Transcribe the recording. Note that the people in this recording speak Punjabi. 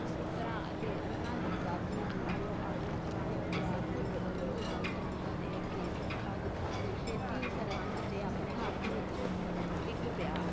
ਪੁੱਤਰਾਂ ਅਤੇ ਉਨ੍ਹਾਂ ਦੀ ਦਾਦੀ ਨੂੰ, ਜੋ ਆਪਣੇ ਪੁਰਾਣੇ ਪਰਿਵਾਰ ਨੂੰ ਗੰਗੂ ਨਾਲ ਧੋਖਾ ਦੇ ਕੇ ਧੋਖਾ ਦਿੱਤਾ ਸੀ, ਛੇਤੀ ਹੀ ਸਰਹੰਦ ਤੇ ਆਪਣੇ ਹੱਥ ਵਿੱਚ ਡਿੱਗ ਪਿਆ